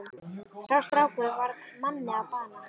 Sá strákur varð manni að bana.